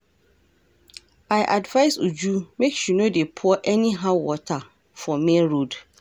I advice Uju make she no dey pour anyhow water for main road